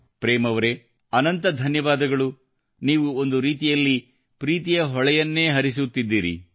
ಪ್ರೇಮ್ ಅವರೆ ಅನಂತ ಧನ್ಯವಾದಗಳು ನೀವು ಒಂದು ರೀತಿಯಲ್ಲಿ ಪ್ರೀತಿಯ ಹೊಳೆಯನ್ನೇ ಹರಿಸುತ್ತಿದ್ದೀರಿ